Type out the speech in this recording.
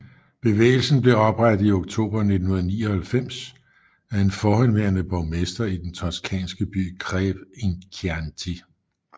Bevægelsen blev oprettet i oktober 1999 af en forhenværende borgmester i den toscanske by Greve in Chianti